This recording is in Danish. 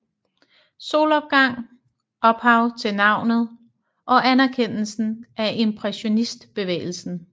Solopgang ophav til navnet og anerkendelsen af impressionistbevægelsen